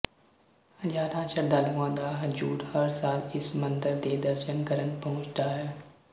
ਹਜ਼ਾਰਾਂ ਸ਼ਰਧਾਲੂਆਂ ਦਾ ਹਜੂਮ ਹਰ ਸਾਲ ਇਸ ਮੰਦਰ ਦੇ ਦਰਸ਼ਨ ਕਰਨ ਪਹੁੰਚਦਾ ਹੈ